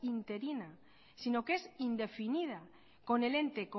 interina sino que es indefinida con el ente